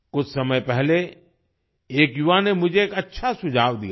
कुछ समय पहले एक युवा ने मुझे एक अच्छा सुझाव दिया था